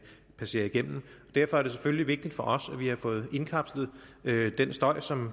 passerer igennem derfor er det selvfølgelig vigtigt for os at vi har fået indkapslet den støj som